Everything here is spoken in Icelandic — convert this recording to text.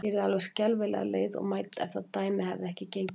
Ég yrði alveg skelfilega leið og mædd, ef það dæmi hefði ekki gengið upp.